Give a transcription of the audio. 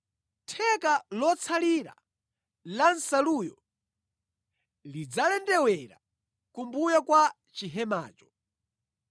Theka lotsalira la nsaluyo lidzalendewera kumbuyo kwa chihemacho.